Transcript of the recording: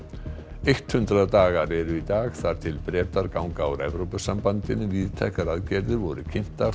eitt hundrað dagar eru í dag þar til Bretar ganga úr Evrópusambandinu víðtækar aðgerðir voru kynntar